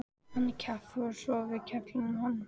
Hann er kjaftfor svo við kefluðum hann.